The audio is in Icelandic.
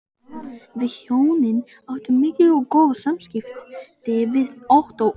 Við hjónin áttum mikil og góð samskipti við Ottó og